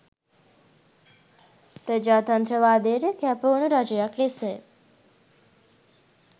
ප්‍රජාතන්ත්‍රවාදයට කැපවුණු රජයක් ලෙසයි.